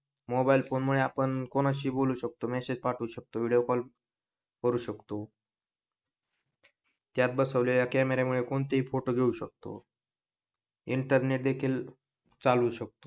mobile phone मुळे आपण कोणाशीही बोलू शकतो मेसेज पाठवू शकतो विडिओ कॉल करू शकतो त्यात बसवलेल्या कॅमेरा मुळे कोणतेही फोटो घेऊ शकतो इंटरनेट देखील चालवू शकतो